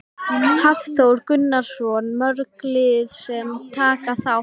Hafþór Gunnarsson: Mörg lið sem taka þátt?